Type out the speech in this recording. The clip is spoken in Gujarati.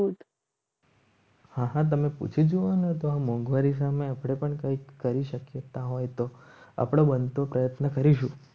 હા હા તમે પૂછી જુઓ તો મોંઘવારી સામે આપણે પણ કંઈક કરી શકીએ. હોય તો આપણે બનતો પ્રયત્ન કરીશું.